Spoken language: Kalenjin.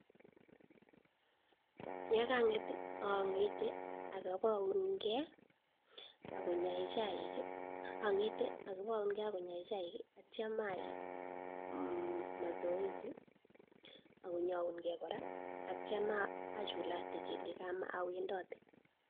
Ye kang'et ang'ete aki baunke akonye chaik , atyam ayai mazoezi akonyaunke kora atyam achulakate awendate.